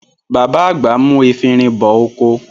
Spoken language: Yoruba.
Bàbá àgbà mú efinrin bọ oko.